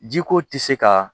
Jiko tɛ se ka